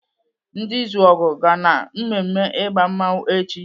Ndi Izuogu ga na-mmemme ịgba mmanwu echi.